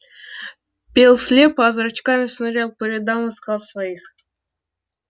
пел слепо а зрачками шнырял по рядам искал своих